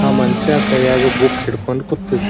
ಆ ಮನುಷ್ಯ ಕೈಯಾಗ ಬುಕ್ ಹಿಡ್ಕೊಂಡ್ ಕುತ್ತಿನ್.